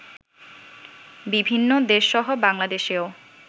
বিভিন্ন দেশসহ বাংলাদেশেও